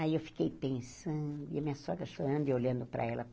Aí eu fiquei pensando e a minha sogra chorando e olhando para ela.